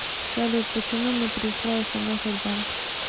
салют почему не пришла смс от банка